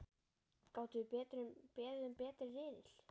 Gátum við beðið um betri riðil?!